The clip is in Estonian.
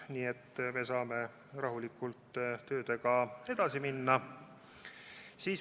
Nii et me saame rahulikult tööga edasi minna.